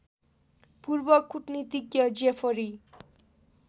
पूर्व कूटनीतिज्ञ जेफरी